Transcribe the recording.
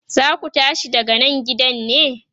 zaku tashi daga Nan gidan ne?